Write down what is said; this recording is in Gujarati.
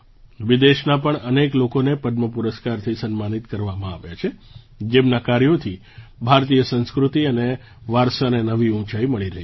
વિદેશના પણ અનેક લોકોને પદ્મ પુરસ્કારથી સન્માનિત કરવામાં આવ્યા છે જેમનાંકાર્યોથી ભારતીય સંસ્કૃતિ અને વારસાને નવી ઊંચાઈ મળી રહી છે